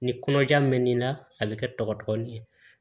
Ni kɔnɔja mɛnni la a bɛ kɛ tɔgɔtɛɲɛn